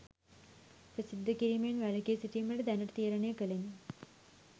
ප්‍රසිද්ධ කිරීමෙන් වැළකී සිටීමට දැනට තීරණය කලෙමි